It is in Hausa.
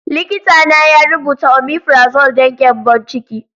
Likitana ya rubuta omefrazole don gyambon ciki.